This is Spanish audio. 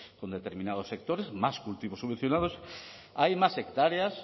con determinados sectores más cultivos subvencionados hay más hectáreas